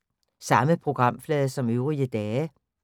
Samme programflade som øvrige dage